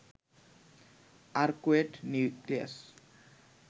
arcuate nucleus